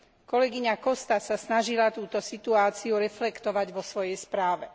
Kolegyňa Costa sa snažila túto situáciu reflektovať vo svojej správe.